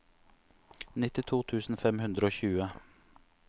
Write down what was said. nittito tusen fem hundre og tjue